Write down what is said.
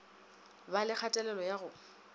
ba le kgatelelo ya go